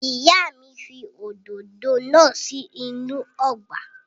Ìyá mi fi òdòdó náà sí inú ọgbà.